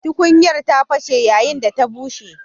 Tukunyar ta fashe yayin da ta bushe.